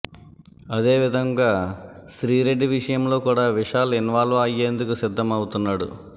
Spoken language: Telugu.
అదే విధంగా శ్రీరెడ్డి విషయంలో కూడా విశాల్ ఇన్వాల్వ్ అయ్యేందుకు సిద్దం అవుతున్నాడు